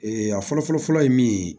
a fɔlɔ fɔlɔ fɔlɔ ye min ye